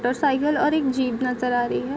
दो साइकिल और एक जीप नजर आ रही है |